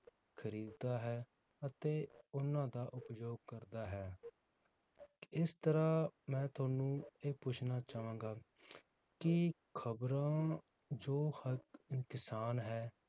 ਖਰੀਦਦਾ ਹੈ, ਅਤੇ ਉਹਨਾਂ ਦਾ ਉਪਯੋਗ ਕਰਦਾ ਹੈ ਇਸ ਤਰਾਹ ਮੈ ਤੁਹਾਨੂੰ ਇਹ ਪੁੱਛਣਾ ਚਾਵਾਂਗਾ ਕੀ ਖਬਰਾਂ ਜੋ ਕਿਸਾਨ ਹੈ